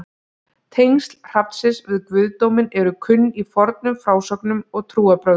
Tengsl hrafnsins við guðdóminn eru kunn í fornum frásögnum og trúarbrögðum.